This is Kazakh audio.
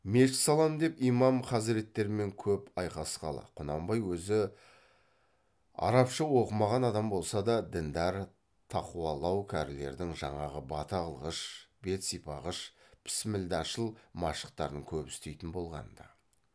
мешіт салам деп имам хазіреттермен көп айқасқалы құнанбай өзі арабша оқымаған адам болса да діндар тақуалау кәрілердің жаңағы бата қылғыш бет сипағыш пісмілдашыл машықтарын көп істейтін болған ды